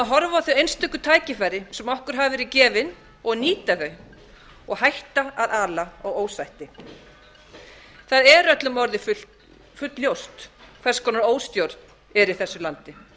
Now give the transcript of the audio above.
þau einstöku tækifæri sem okkur hafa verið gefin og nýta þau og bæti að ala á ósætti það er öllum orðið fullljóst hvers konar óstjórn er í þessu landi